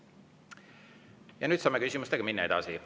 Ja nüüd saame küsimustega minna edasi.